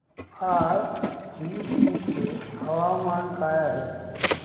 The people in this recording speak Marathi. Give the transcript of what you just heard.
आज थ्रिसुर चे हवामान काय आहे